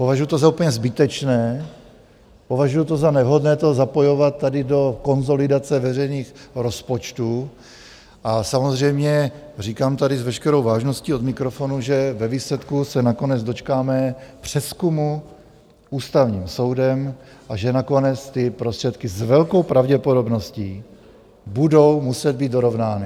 Považuju to za úplně zbytečné, považuju to za nevhodné to zapojovat tady do konsolidace veřejných rozpočtů a samozřejmě říkám tady s veškerou vážností od mikrofonu, že ve výsledku se nakonec dočkáme přezkumu Ústavním soudem a že nakonec ty prostředky s velkou pravděpodobností budou muset být dorovnány.